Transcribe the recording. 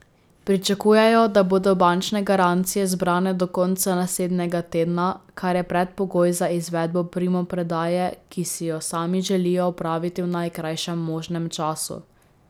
Pričakujejo, da bodo bančne garancije zbrane do konca naslednjega tedna, kar je predpogoj za izvedbo primopredaje, ki si jo sami želijo opraviti v najkrajšem možnem času.